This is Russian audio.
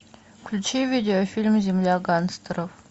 включи видеофильм земля гангстеров